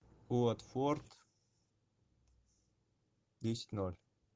уотфорд десять ноль